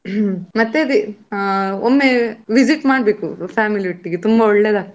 ಮತ್ತೆ ಅದೇ ಒಮ್ಮೆ visit ಮಾಡ್ಬೇಕು family ಒಟ್ಟಿಗೆ ತುಂಬಾ ಒಳ್ಳೆದಾಗ್ತದೆ.